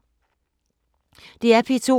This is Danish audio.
DR P2